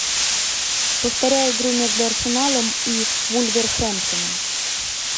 повторяй игру между арсеналом и вулверхэмптоном